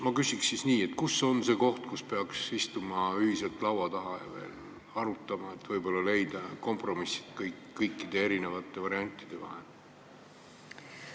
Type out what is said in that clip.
Ma küsin nii: kus on see koht, kus peaks ühiselt laua taha istuma ja seda veel arutama, et leida kompromiss erinevate variantide vahel?